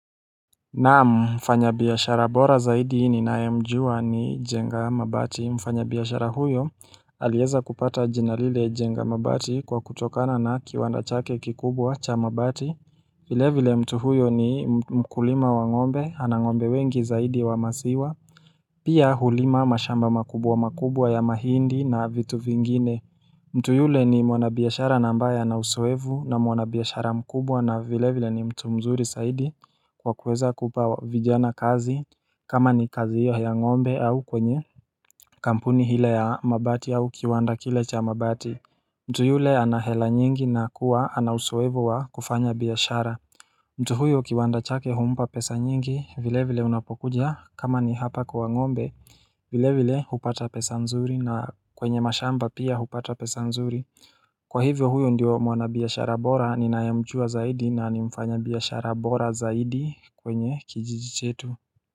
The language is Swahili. Naam, mfanyabiashara bora zaidi ninae mjua ni Njenga mabati. Mfanyabiashara huyo alieza kupata jina lile Njenga mabati kwa kutokana na kiwanda chake kikubwa cha mabati vile vile mtu huyo ni mkulima wa ng'ombe, ana ng'ombe wengi zaidi wa masiwa Pia hulima mashamba makubwa makubwa ya mahindi na vitu vingine mtu yule ni mwanabiashara nambaye ana usoevu na mwanabiashara mkubwa na vile vile ni mtu mzuri saidi kwa kuweza kupa vijana kazi kama ni kazi hiyo ya ng'ombe au kwenye kampuni hile ya mabati au kiwanda kile cha mabati mtu yule ana hela nyingi na kuwa ana usuefu wa kufanya biashara mtu huyo kiwanda chake humpa pesa nyingi vile vile unapokuja kama ni hapa kwa ng'ombe vile vile hupata pesa nzuri na kwenye mashamba pia hupata pesa nzuri. Kwa hivyo huyo ndio mwanabiashara bora ninayemjua zaidi na ni mfanyabiashara bora zaidi kwenye kijiji chetu.